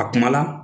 A kuma la